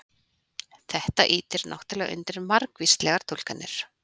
Þetta ýtir náttúrulega undir margvíslegar túlkanir.